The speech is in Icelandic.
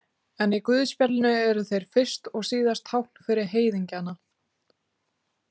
En í guðspjallinu eru þeir fyrst og síðast tákn fyrir heiðingjana.